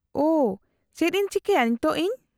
-ᱳᱦ ! ᱪᱮᱫ ᱤᱧ ᱪᱤᱠᱟᱹᱭᱟ ᱱᱤᱛᱚᱜ ᱤᱧ ?